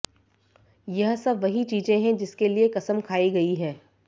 यह सब वही चीज़े हैं जिसके लिए क़सम खाई गयी है